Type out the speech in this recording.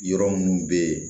Yɔrɔ minnu bɛ yen